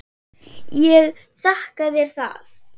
Ég þakka þér það.